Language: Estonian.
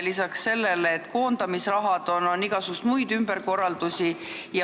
Lisaks sellele, et tuleb maksta koondamisraha, tehakse igasuguseid muid ümberkorraldusi.